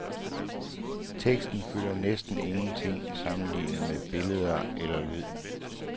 Tekster fylder næsten ingenting sammenlignet med billeder eller lyd.